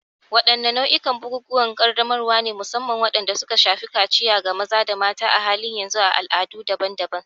Wadanne nau'ikan bukukuwan ƙaddamarwa ne, musamman waɗanda suka shafi kaciya ga maza da mata, a halin yanzu a al'adu daban-daban?